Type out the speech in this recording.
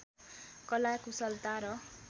कला कुशलता र